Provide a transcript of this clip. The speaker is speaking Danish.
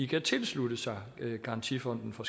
kan tilslutte sig garantifonden for